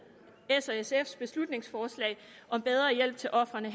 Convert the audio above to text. s og sfs beslutningsforslag om bedre hjælp til ofrene